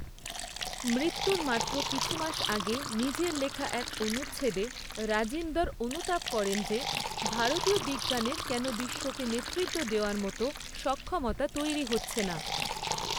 মৃত্যুর মাত্র কিছু মাস আগে নিজের লেখা এক অনুচ্ছেদে রাজিন্দর অনুতাপ করেন যে, ভারতীয় বিজ্ঞানের কেন বিশ্বকে নেতৃত্ব দেওয়ার মতো সক্ষমতা তৈরী হচ্ছে না।